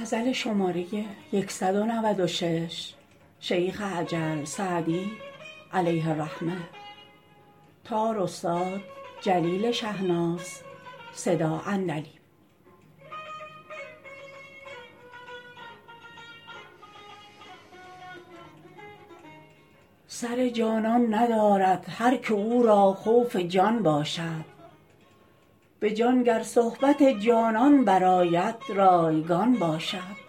سر جانان ندارد هر که او را خوف جان باشد به جان گر صحبت جانان برآید رایگان باشد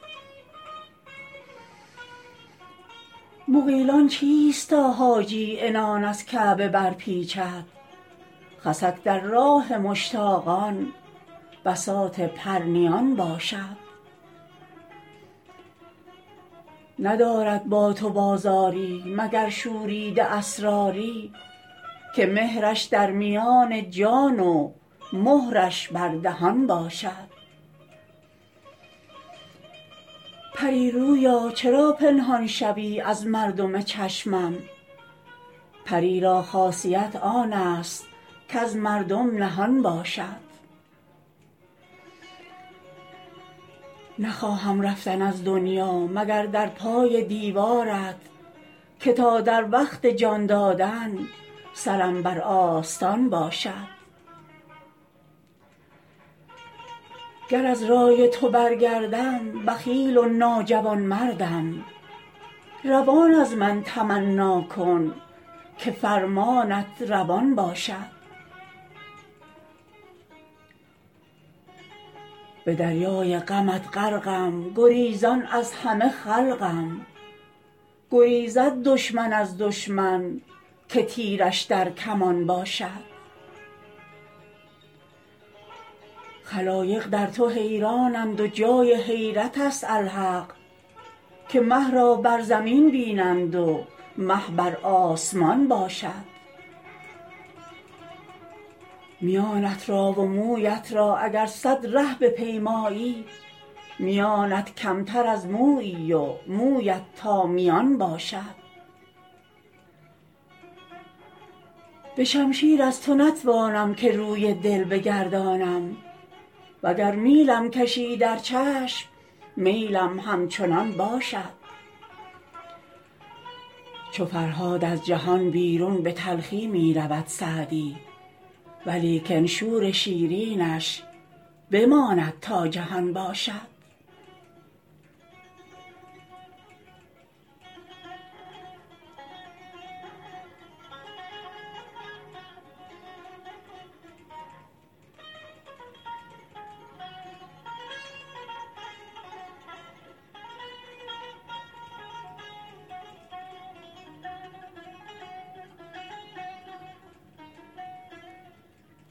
مغیلان چیست تا حاجی عنان از کعبه برپیچد خسک در راه مشتاقان بساط پرنیان باشد ندارد با تو بازاری مگر شوریده اسراری که مهرش در میان جان و مهرش بر دهان باشد پری رویا چرا پنهان شوی از مردم چشمم پری را خاصیت آن است کز مردم نهان باشد نخواهم رفتن از دنیا مگر در پای دیوارت که تا در وقت جان دادن سرم بر آستان باشد گر از رای تو برگردم بخیل و ناجوانمردم روان از من تمنا کن که فرمانت روان باشد به دریای غمت غرقم گریزان از همه خلقم گریزد دشمن از دشمن که تیرش در کمان باشد خلایق در تو حیرانند و جای حیرت است الحق که مه را بر زمین بینند و مه بر آسمان باشد میانت را و مویت را اگر صد ره بپیمایی میانت کمتر از مویی و مویت تا میان باشد به شمشیر از تو نتوانم که روی دل بگردانم و گر میلم کشی در چشم میلم همچنان باشد چو فرهاد از جهان بیرون به تلخی می رود سعدی ولیکن شور شیرینش بماند تا جهان باشد